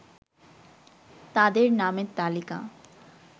তাদের নামের তালিকা